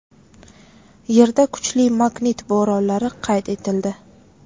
Yerda kuchli magnit bo‘ronlari qayd etildi.